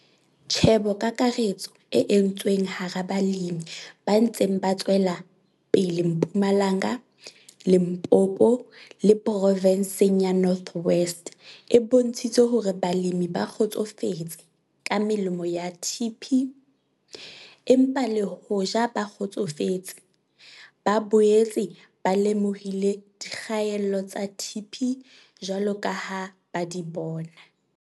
Tjhebokakaretso e entsweng hara balemi ba ntseng ba tswela pele Mpumalanga, Limpopo le provenseng ya North West e bontshitse hore balemi ba kgotsofetse ka melemo ya TP, empa le hoja ba kgotsofetse, ba boetse ba lemohile dikgaello tsa TP jwalo ka ha ba di bona.